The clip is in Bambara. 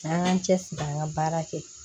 An k'an cɛ siri an ka baara kɛ